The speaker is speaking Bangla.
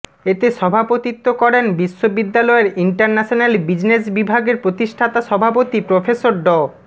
এতে সভাপতিত্ব করেন বিশ্ববিদ্যালয়ের ইন্টারন্যাশনাল বিজনেস বিভাগের প্রতিষ্ঠাতা সভাপতি প্রফেসর ড